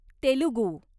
Telugu